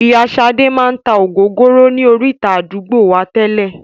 Ìyá sade máa tá ògógóró ni orita àdúgbò wá tẹ́lè